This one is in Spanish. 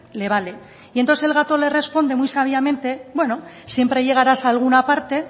le vale y entonces el gato le responde muy sabiamente bueno siempre llegaras alguna parte